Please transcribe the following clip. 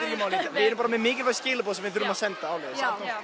við erum með mikilvæg skilaboð sem við þurfum að senda áleiðis